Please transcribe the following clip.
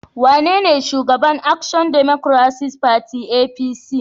Wanene Shugaban Action Democratic Party (ADP)?